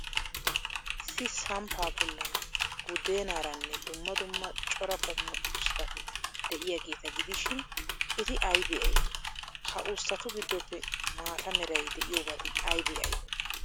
Issi samppaa bollan buddeenaaranne dumma dumma cora qommo usttati de'iyaageeta gidishin, eti aybee aybee? Ha usttatu giddoppe maata meray de'iyoobati aybee aybee?